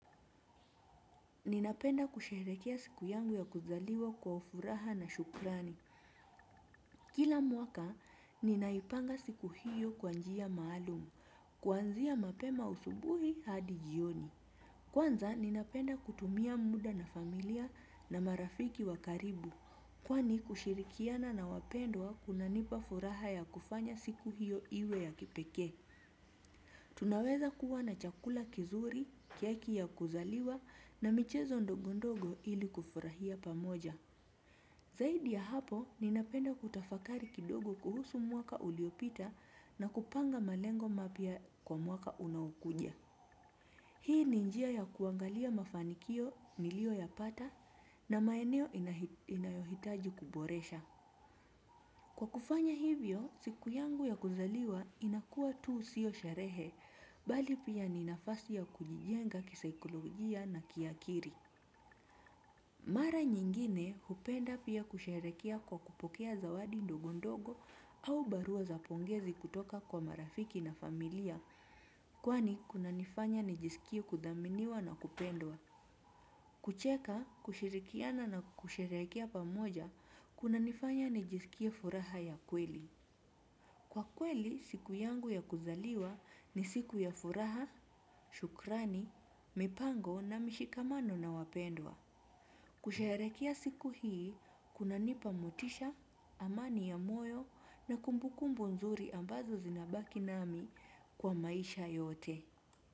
Ninapenda kusherehekea siku yangu ya kuzaliwa kwa furaha na shukrani. Kila mwaka, ninaipanga siku hiyo kwa njia maalumu, kuanzia mapema asubuhi hadi jioni. Kwanza, ninapenda kutumia muda na familia na marafiki wa karibu, kwani kushirikiana na wapendwa kunanipa furaha ya kufanya siku hiyo iwe ya kipeke. Tunaweza kuwa na chakula kizuri, kiaki ya kuzaliwa na michezo ndogo ndogo ili kufurahia pamoja. Zaidi ya hapo ninapenda kutafakari kidogo kuhusu mwaka uliopita na kupanga malengo mapya kwa mwaka unaokuja. Hii ni njia ya kuangalia mafanikio nilio yapata na maeneo inayohitaji kuboresha. Kwa kufanya hivyo, siku yangu ya kuzaliwa inakuwa tu sio sherehe, bali pia ni nafasi ya kujijenga kisaikologia na kiakili. Mara nyingine, hupenda pia kusheherekea kwa kupokea zawadi ndogo ndogo au barua za pongezi kutoka kwa marafiki na familia, kwani kunanifanya nijisikie kuthaminiwa na kupendwa. Kucheka, kushirikiana na kusherehekea pamoja, kunanifanya nijisikie furaha ya kweli. Kwa kweli, siku yangu ya kuzaliwa ni siku ya furaha, shukrani, mipango na mishikamano na wapendwa. Kusherehekea siku hii, kunanipa motisha, amani ya moyo na kumbukumbu nzuri ambazo zinabaki nami kwa maisha yote.